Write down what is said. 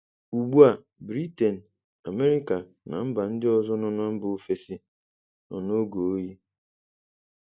Ugbu a, Britain, America na mba ndị ọzọ nọ na mba ofesi nọ n'oge oyi.